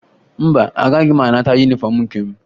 Mba, agaghị m anata yunifọmụ nke m